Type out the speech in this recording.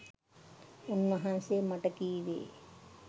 උන්වහන්සෙ මට කිවේ